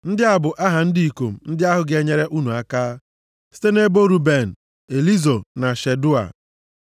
“Ndị a bụ aha ndị ikom ndị ahụ ga-enyere unu aka. “Site nʼebo Ruben, Elizọ na Shedeua,